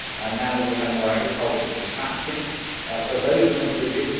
now that we have more agricultural contracting, so those are included.